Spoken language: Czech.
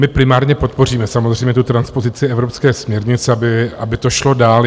My primárně podpoříme samozřejmě tu transpozici evropské směrnice, aby to šlo dál.